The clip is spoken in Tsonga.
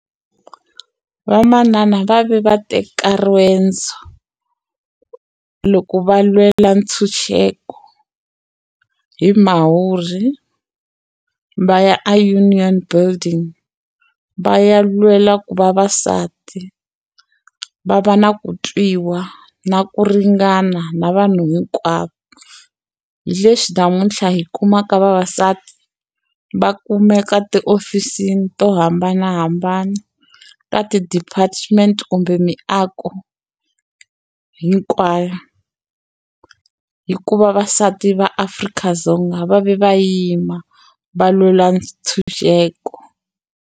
Vamanana va ve va teka riendzo loko va lwela ntshunxeko hi Mhawuri va ya a Union Building va ya lwela ku vavasati va va na ku twiwa na ku ringana na vanhu hinkwavo hi leswi namuntlha hi kumaka vavasati va kumeka tiofisini to hambanahambana ta ti-department kumbe miako hinkwayo hi ku vavasati va Afrika-Dzonga va ve va yima va lwela ntshunxeko.